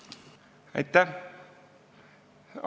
Arukas?